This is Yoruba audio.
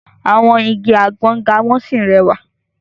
Àwọn igi àgbọ ga wọ́n sì rẹwà.